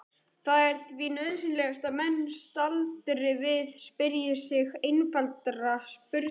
Það er því nauðsynlegt að menn staldri við og spyrji sig einfaldra spurninga